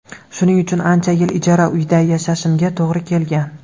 Shuning uchun ancha yil ijara uyda yashashimga to‘g‘ri kelgan.